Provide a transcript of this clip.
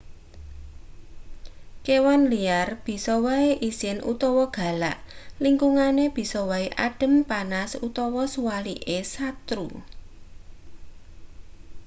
kewan liar bisa wae isin utawa galak lingkungane bisa wae adhem panas utawa suwalike satru